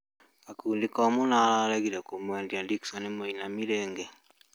Gakundi komũ nĩraregĩre kumwendĩa Dickson mũĩnami rĩngĩ